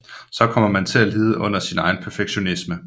Så kommer man til at lide under sin egen perfektionisme